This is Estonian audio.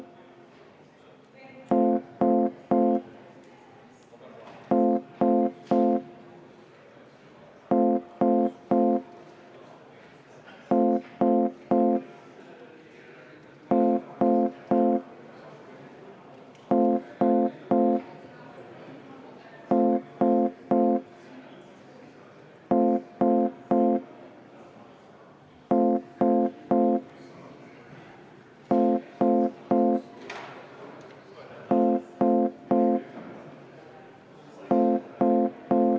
Me hääletame seda muudatusettepanekut.